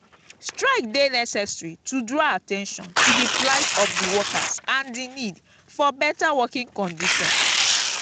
strike dey necessary to draw at ten tion to di plight of di workers and di need for beta working conditions.